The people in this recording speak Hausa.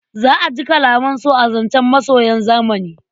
Za a ji kalaman so a zancen masoyan zamani.